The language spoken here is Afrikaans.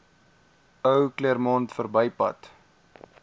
ou claremont verbypad